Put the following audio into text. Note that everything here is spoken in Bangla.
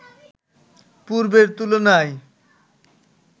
পূর্বের তুলনায়